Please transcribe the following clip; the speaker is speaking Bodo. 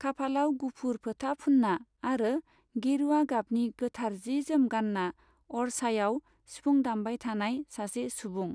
खाफालाव गुफुर फोथा फुन्ना आरो गेरुया गाबनि गोथार जि जोम गान्ना अरछायाव सिफुं दामबाय थानाय सासे सुबुं।